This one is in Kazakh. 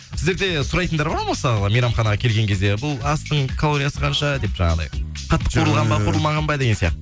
сіздер де сұрайтындар бола ма мысалға мейрамханаға келген кезде бұл астың калориясы қанша деп жаңағыдай қатты қуырылған ба қуырылмаған ба деген